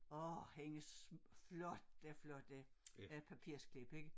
Årh hendes flotte flotte øh papirsklip ik